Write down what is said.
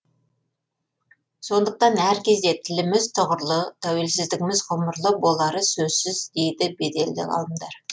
сондықтан әркезде тіліміз тұғырлы тәуелсіздігіміз ғұмырлы болары сөзсіз дейді беделді ғалымдар